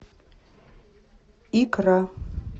икра